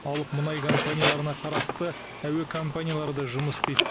алып мұнай компанияларына қарасты әуе компаниялары да жұмыс істейді